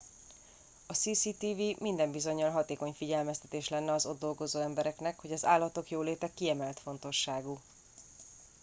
a cctv minden bizonyal hatékony figyelmeztetés lenne az ott dolgozó embereknek hogy az állatok jóléte kiemelt fontosságú